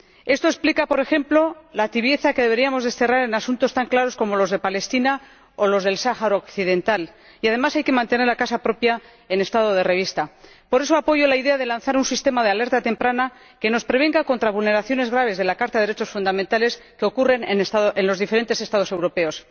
Esto explica, por ejemplo, la tibieza que deberíamos desterrar en asuntos tan claros como los de Palestina o los del Sáhara occidental y, además, hay que mantener la casa propia en estado de revista. Por eso, apoyo la idea de lanzar un sistema de alerta temprana que nos prevenga contra vulneraciones graves de la Carta de los Derechos Fundamentales que ocurren en los diferentes Estados europeos.